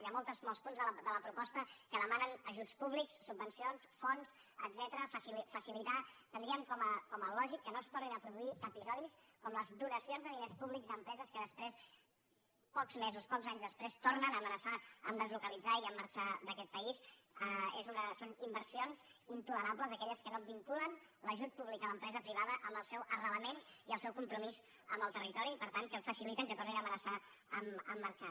hi ha molts punts de la proposta que demanen ajuts públics subvencions fons etcètera facilitar entendríem com a lògic que no es tornin a produir episodis com les donacions de diners públics a empreses que després pocs mesos pocs anys després tornen a amenaçar de deslocalitzar i marxar d’aquest país són inversions intolerables aquelles que no vinculen l’ajut públic a l’empresa privada amb el seu arrelament i el seu compromís amb el territori i per tant que faciliten que tornin a amenaçar de marxar